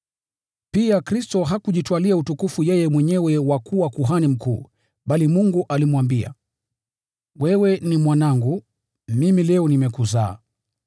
Pia Kristo hakujitwalia utukufu yeye mwenyewe wa kuwa Kuhani Mkuu, bali Mungu alimwambia, “Wewe ni Mwanangu; leo mimi nimekuzaa.”